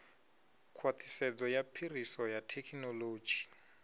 khwaṱhisedzo ya phiriso ya thekhinoḽodzhi